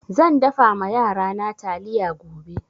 Zan dafa ma yarana taliya gobe.